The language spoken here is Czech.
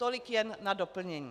Tolik jen na doplnění.